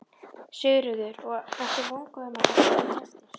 Sigríður: Og ertu vongóður um að þetta gangi eftir?